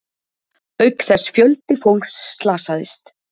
Auk þess fjöldi fólks slasaðist